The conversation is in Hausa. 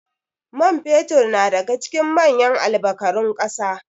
man fetur na daga cikin manyan albkarun kasa